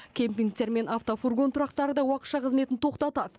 кемпингтер мен автофургон тұрақтары да уақытша қызметін тоқтатады